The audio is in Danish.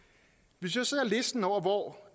hvis vi ser på listen over hvor